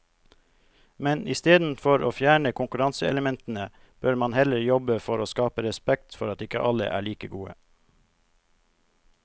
Men istedenfor å fjerne konkurranseelementene bør man heller jobbe for å skape respekt for at ikke alle er like gode.